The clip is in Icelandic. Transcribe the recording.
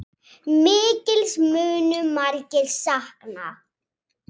Mikils munu margir sakna.